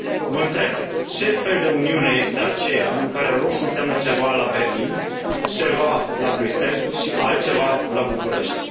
Vă întreb, ce fel de Uniune este aceea în care roșu înseamnă ceva la Berlin, ceva la Bruxelles și altceva la București.